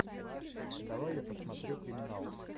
давай я посмотрю криминал